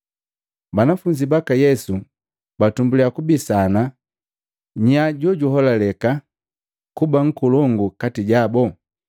Banafunzi baka Yesu batumbuliya kubisana nya jojuholaleka kuba nkolongu kati jabu.